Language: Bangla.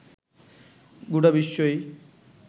গোটা বিশ্বই